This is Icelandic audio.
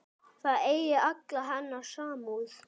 Það eigi alla hennar samúð.